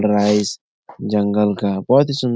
rise जंगल का बहुत ही सुन्दर --